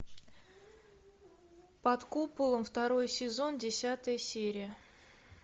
под куполом второй сезон десятая серия